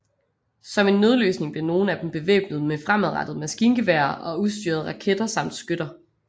Som en nødløsning blev nogle af dem bevæbnet med fremadrettede maskingeværer og ustyrede raketter samt skytter